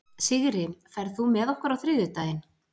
Sigri, ferð þú með okkur á þriðjudaginn?